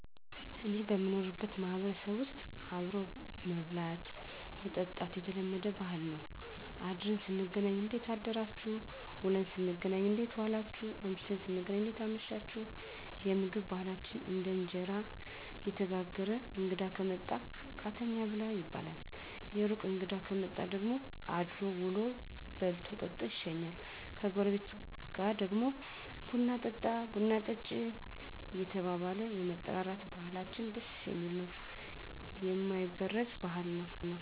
እኔ በምኖርበት ማህበረሰብ ዉስጥ አብሮ መብላት መጠጣት የተለመደ ባህል ነዉ አድረን ስንገናኝ እንዴት አደራችሁ ዉለን ስንገናኝ እንዴት ዋላችሁ አምሽተን ስንገናኝ እንዴት አመሻችሁየምግብ ባህላችን ደግሞ እንጀራ እየተጋገረ እንግዳ ከመጣ ቃተኛ ብላ ይባላል የሩቅ እንግዳ ከመጣ ደግሞ አድሮ ዉሎ በልቶ ጠጥቶ ይሸኛል ከጎረቤት ጋር ደግሞ ቡና ጠጦ ቡና ጠጭ እየተባባለ የመጠራራት ባህላችን ደስ የሚል ነዉ የማይበረዝ ባህል ነዉ